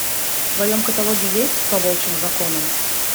в твоем каталоге есть по волчьим законам